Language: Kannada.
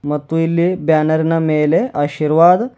ಮತ್ತು ಇಲ್ಲಿ ಬ್ಯಾನರ್ ನ ಮೇಲೆ ಅಶಿರ್ವಾದ್--